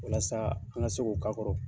Walasa an ka se k'o k'a kɔrɔ